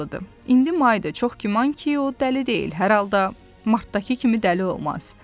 İndi Maydır, çox güman ki, o dəli deyil, hər halda Martdakı kimi dəli olmaz.